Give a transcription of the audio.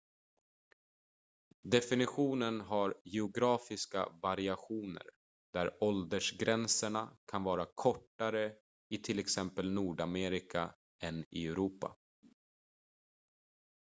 definitionen har geografiska variationer där åldersgränserna kan vara kortare i till exempel nordamerika än i europa